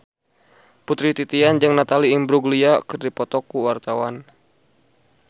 Putri Titian jeung Natalie Imbruglia keur dipoto ku wartawan